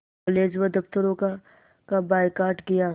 college व दफ़्तरों का बायकॉट किया